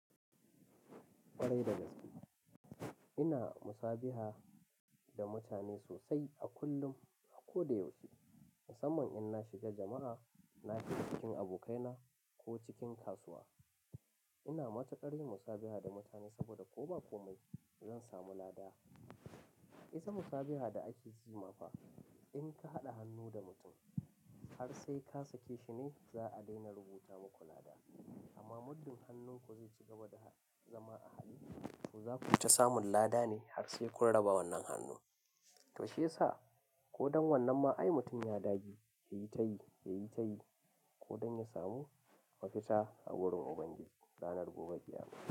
Ƙwarai da gaske, ina musabiha da mutane sosai a kullum, a ko da yaushe. Na saman in na shiga jama'a, na shiga cikin abokaina ko cikin kasuwa. Ina matuƙar yin musabiha da mutane saboda ko ba komai zan samu lada. Isa musabiha da ake yi mafa, in ka haɗa hannu da mutum har sai ka sake shi ne za a daina rubuta muku lada. Amma muddin hannunku zai ci gaba da zama a haɗe, to za ku tafi samun lada ne har sai kun raba wannan hannu. To shiyasa ko don wannan ma ai mutum ya dage, yayi ta yi, yayi ta yi ko don ya samu mafita a wurin Ubangiji ranar gobe ƙiyama.